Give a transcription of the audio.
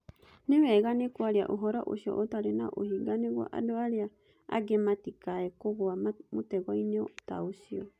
Nĩ weganĩ kwaria ũhoro ũcio ũtarĩ na ũhinga nĩguo andũ arĩa angĩ matikae kũgũa mũtego-inĩ ta ũcio.